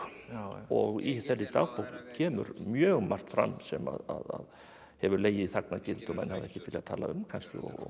og í þeirri dagbók kemur mjög margt fram sem að hefur legið í þagnargildi og menn hafa ekkert viljað tala um kannski